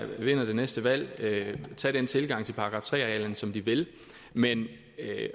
vinder det næste valg tage den tilgang til § tre arealerne som de vil men at